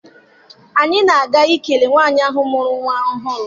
Anyị na-aga ikele nwaanyị ahụ mụrụ nwa ọhụrụ.